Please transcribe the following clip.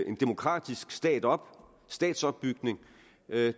en demokratisk stat op statsopbygning